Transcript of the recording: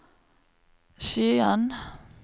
Skien